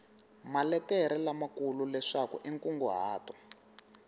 maletere lamakulu leswaku i nkunguhato